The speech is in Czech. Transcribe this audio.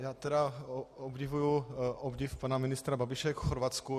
Já tedy obdivuji obdiv pana ministra Babiše k Chorvatsku.